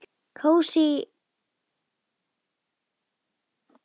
Kósí, lítil íbúð.